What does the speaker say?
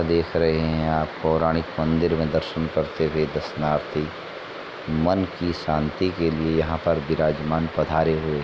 देख रहे हैं आप पौराणिक मंदिर में दर्शन करते हुए दर्शनार्थी मन की शांति के लिए यहाँ पर विराजमान पधारे हुए है।